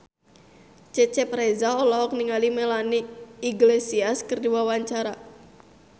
Cecep Reza olohok ningali Melanie Iglesias keur diwawancara